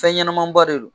Fɛn ɲɛnɛman ba de don